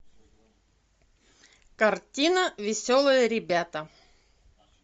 картина веселые ребята